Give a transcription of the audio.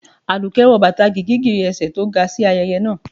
aduke wọ batá gígígírí ésẹ tó ga si ayẹyẹ naa